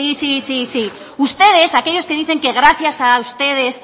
sí sí ustedes aquellos que dicen que gracias a ustedes